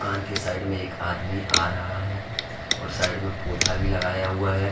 दुकान के साइड में एक आदमी आ रहा है और साइड में पौधा भी लगाया हुआ है।